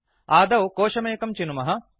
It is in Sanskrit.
आदौ कोशमेकं चिनुमः